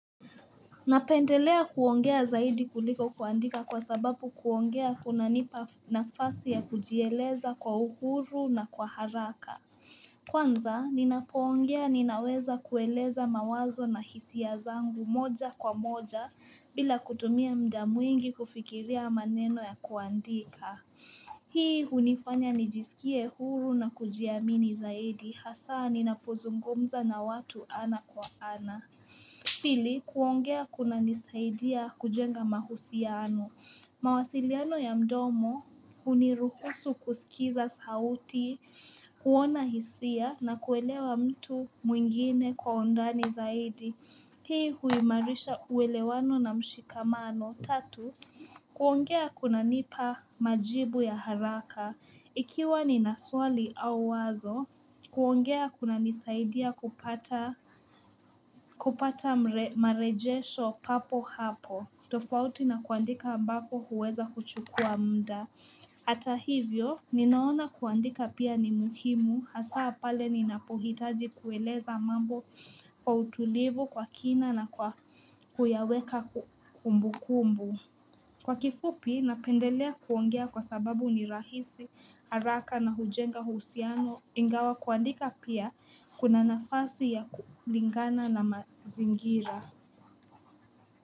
Napendelea kuongea zaidi kuliko kuandika kwa sababu kuongea kuna nipa nafasi ya kujieleza kwa uhuru na kwa haraka Kwanza ninapoongea ninaweza kueleza mawazo na hisia zangu moja kwa moja bila kutumia muda mwingi kufikiria maneno ya kuandika Hii hunifanya nijisikie huru na kujiamini zaidi hasaa ninapozungumza na watu ana kwa ana Pili, kuongea kuna nisaidia kujenga mahusiano. Mawasiliano ya mdomo, huniruhusu kusikiza sauti, kuona hisia na kuelewa mtu mwingine kwa undani zaidi. Hii huimarisha uwelewano na mshikamano. Tatu, kuongea kuna nipa majibu ya haraka. Ikiwa ni na swali au wazo, kuongea kuna nisaidia kupata marejesho papo hapo. Tofauti na kuandika ambako huweza kuchukua muda. Ata hivyo, ninaona kuandika pia ni muhimu, hasa pale ninapohitaji kueleza mambo kwa utulivu kwa kina na kwa kuyaweka kumbukumbu. Kwa kifupi, napendelea kuongea kwa sababu ni rahisi, haraka na hujenga husband, ingawa kuandika pia kuna nafasi ya kulingana na mazingira.